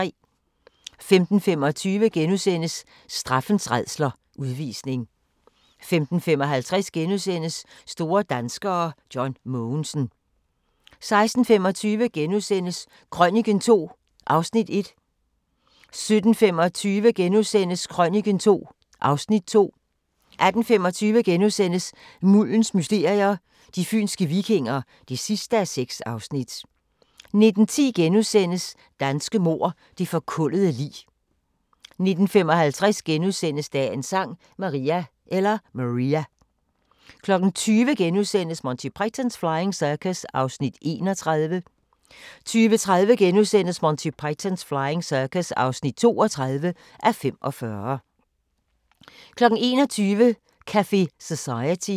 15:25: Straffens rædsler – Udvisning * 15:55: Store danskere: John Mogensen * 16:25: Krøniken II (Afs. 1)* 17:25: Krøniken II (Afs. 2)* 18:25: Muldens mysterier – De fynske vikinger (6:6)* 19:10: Danske mord – Det forkullede lig * 19:55: Dagens Sang: Maria * 20:00: Monty Python's Flying Circus (31:45)* 20:30: Monty Python's Flying Circus (32:45)* 21:00: Café Society